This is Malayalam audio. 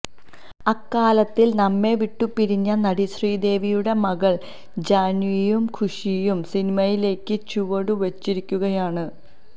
അകാലത്തില് നമ്മെവിട്ടു പിരിഞ്ഞ നടി ശ്രീദേവിയുടെ മകള് ജാന്വിയും ഖുഷിയും സിനിമയിലേയ്ക്ക് ചുവടു വയ്ച്ചിരിക്കുകയാണ്